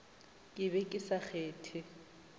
ke be ke sa kgethe